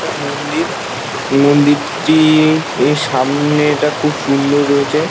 একটা মন্দির মন্দিরটি এর সামনেটা খুব সুন্দর রয়েছে।